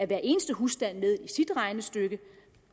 hver eneste husstand med i sit regnestykke